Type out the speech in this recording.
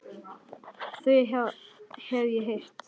Þau hef ég heyrt.